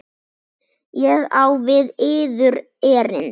Ég á við yður erindi.